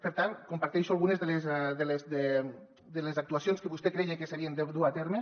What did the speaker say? per tant comparteixo algunes de les actuacions que vostè creia que s’havien de dur a terme